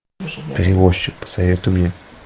перевозчик посоветуй мне